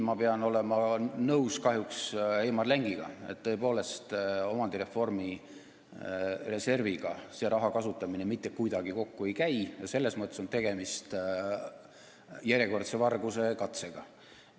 Ma pean siin olema kahjuks nõus Heimar Lengiga, et tõepoolest, omandireformi reservi põhimõttega see raha kasutamine mitte kuidagi kokku ei käi, selles mõttes on tegemist järjekordse vargusekatsega.